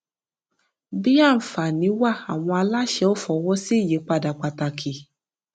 bí àǹfààní wà àwọn aláṣẹ ò fọwọ sí ìyípadà pàtàkì